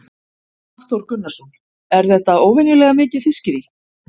Hafþór Gunnarsson: Er þetta óvenjulega mikið fiskirí?